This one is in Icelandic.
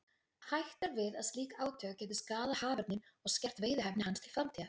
Hætt er við að slík átök gætu skaðað haförninn og skert veiðihæfni hans til framtíðar.